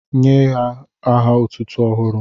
Nye ya aha otụ́tụ́ ọhụrụ